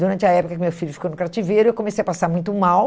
Durante a época que meu filho ficou no cativeiro, eu comecei a passar muito mal.